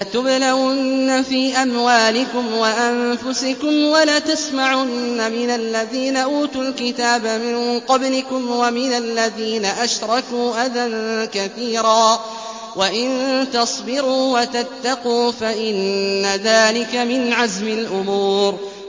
۞ لَتُبْلَوُنَّ فِي أَمْوَالِكُمْ وَأَنفُسِكُمْ وَلَتَسْمَعُنَّ مِنَ الَّذِينَ أُوتُوا الْكِتَابَ مِن قَبْلِكُمْ وَمِنَ الَّذِينَ أَشْرَكُوا أَذًى كَثِيرًا ۚ وَإِن تَصْبِرُوا وَتَتَّقُوا فَإِنَّ ذَٰلِكَ مِنْ عَزْمِ الْأُمُورِ